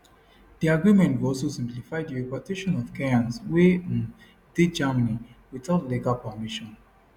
di agreement go also simplify di repatriation of kenyans wey um dey germany without legal permission